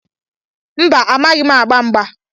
Mba, amaghị m agba mgba.